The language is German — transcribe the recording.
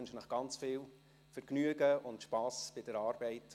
Ich wünsche Ihnen viel Vergnügen und Spass bei der Arbeit.